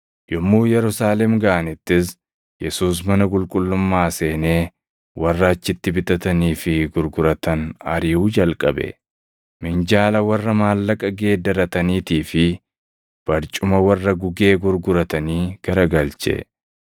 Yommuu Yerusaalem gaʼanittis Yesuus mana qulqullummaa seenee warra achitti bitatanii fi gurguratan ariʼuu jalqabe. Minjaala warra maallaqa geeddarataniitii fi barcuma warra gugee gurguratanii garagalche.